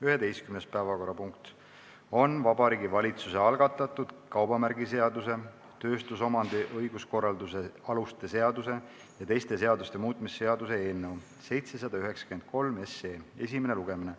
11. päevakorrapunkt on Vabariigi Valitsuse algatatud kaubamärgiseaduse, tööstusomandi õiguskorralduse aluste seaduse ja teiste seaduste muutmise seaduse eelnõu 793 esimene lugemine.